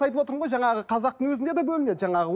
айтып отырмын ғой жаңағы қазақтың өзінде де бөлінеді жаңағы